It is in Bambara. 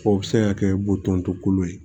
O bɛ se ka kɛ boton kolo ye